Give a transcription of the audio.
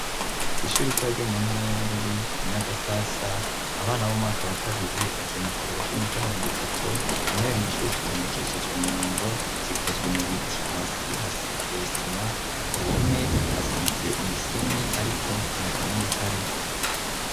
Kw'ishuri ritoya ryo mu ntara ya Bururi Inyagasasa, abana b'umwaka wa kabiri bagiye mukaruhuko k'iminota mirongo itatu, intebe mw'ishuri zitondekesheje umurongo, zikozwe mu biti, hasi hasize isima, ku ruhome hasize imisenyi ariko nta karangi kariko.